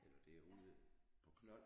Eller det er ude på Knold